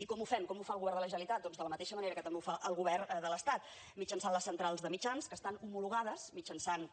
i com ho fem com ho fa el govern de la generalitat doncs de la mateixa manera que també ho fa el govern de l’estat mitjançant les centrals de mitjans que estan homologades mitjançant